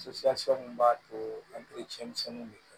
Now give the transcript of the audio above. mun b'a to misɛnninw de do